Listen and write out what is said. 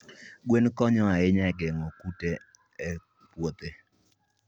Gweno konyo ahinya e geng'o kute e puothe.